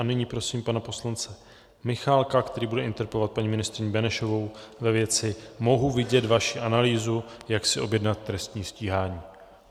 A nyní prosím pana poslance Michálka, který bude interpelovat paní ministryni Benešovou ve věci: mohu vidět vaši analýzu, jak si objednat trestní stíhání?